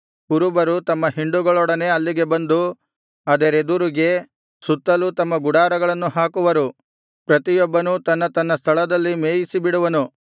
ಕುರುಬರು ತಮ್ಮ ಹಿಂಡುಗಳೊಡನೆ ಅಲ್ಲಿಗೆ ಬಂದು ಅದರೆದುರಿಗೆ ಸುತ್ತಲೂ ತಮ್ಮ ಗುಡಾರಗಳನ್ನು ಹಾಕುವರು ಪ್ರತಿಯೊಬ್ಬನೂ ತನ್ನ ತನ್ನ ಸ್ಥಳದಲ್ಲಿ ಮೇಯಿಸಿಬಿಡುವನು